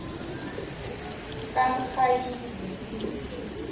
kamrhayili